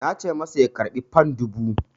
Na ce masa ya karɓi fan dubu!